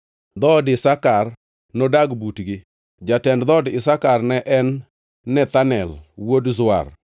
Dhood Isakar nodag butgi. Jatend dhood Isakar ne en Nethanel wuod Zuar.